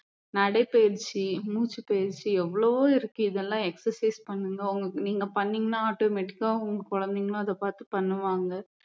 நடைப்பயிற்சி மூச்சுப் பயிற்சி எவ்வளவோ இருக்கு இதையெல்லாம் exercise பண்ணுங்க நீங்க பண்ணீங்கன்னா automatic ஆ உங்க குழந்தைங்களும் அதை பாத்து பண்ணுவாங்க